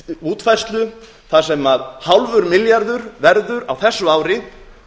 útfærslu þar sem hálfur milljarður verður á þessu ári